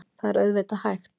Það er auðvitað hægt.